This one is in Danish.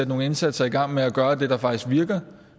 nogle indsatser i gang og gøre det der faktisk virker